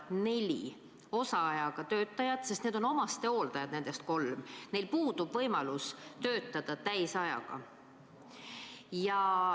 On neli osaajaga töötajat, kellest kolm on omastehooldajad, neil puudub võimalus töötada täisajaga.